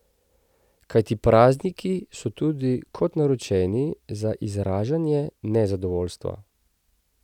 Kajti prazniki so tudi kot naročeni za izražanje nezadovoljstva.